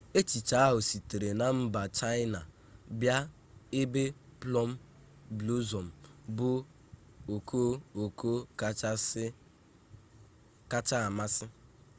echiche ahụ sitere na mba chaịna bịa ebe plum blossom bụ okooko kacha amasị